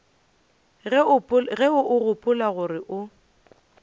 ge o gopola gore o